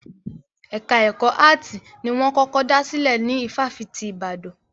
Ẹka ẹ̀kọ́ áàtì ni wọ́n kọ́kọ́ dá sílè ní ifáfitì ti Ìbàdàn.